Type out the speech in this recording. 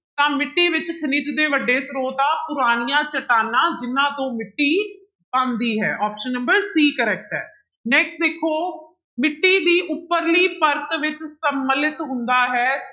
ਤਾਂ ਮਿੱਟੀ ਵਿੱਚ ਖਣਿਜ ਦੇ ਵੱਡੇ ਸਰੋਤ ਆ ਪੁਰਾਣੀਆਂ ਚਟਾਨਾਂ ਜਿਹਨਾਂ ਤੋਂ ਮਿੱਟੀ ਬਣਦੀ ਹੈ option number c correct ਹੈ, next ਦੇਖੋ ਮਿੱਟੀ ਦੀ ਉਪਰਲੀ ਪਰਤ ਵਿੱਚ ਸਮਲਿਤ ਹੁੰਦਾ ਹੈ,